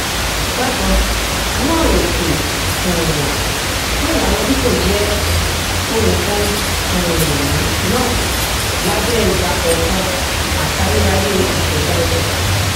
bákan náàèsì um fún ìlànà fifo jẹ ohun kan um náà lábẹ ìgbàkọọkan àti ayérayé ìṣẹdá ọjà